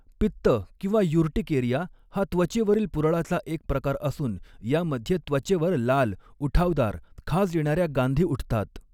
पित्त किंवा युर्टिकेरिया हा त्वचेवरील पुरळाचा एक प्रकार असून यामध्ये त्वचेवर लाल, उठावदार, खाज येणाऱ्या गांधी उठतात.